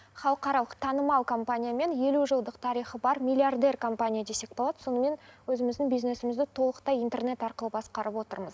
халықаралық танымал компаниямен елу жылдық тарихы бар миллиардер компания десек болады сонымен өзіміздің бизнесімізді толықтай интернет арқылы басқарып отырмыз